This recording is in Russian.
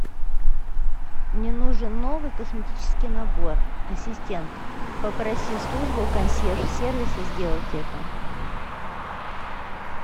мне нужен новый косметический набор ассистент попроси службу консьерж сервиса сделать это